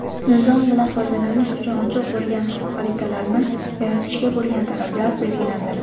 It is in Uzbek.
nizom bilan foydalanish uchun ochiq bo‘lgan xaritalarni yaratishga bo‘lgan talablar belgilandi.